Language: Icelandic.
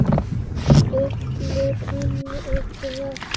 Stillir henni upp við vegg.